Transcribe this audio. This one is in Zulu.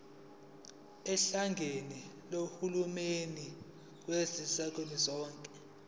ohlakeni lukahulumeni kazwelonke